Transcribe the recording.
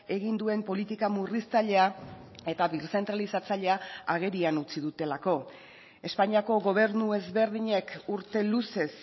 egin duen politika murriztailea eta birzentralizatzailea agerian utzi dutelako espainiako gobernu ezberdinek urte luzez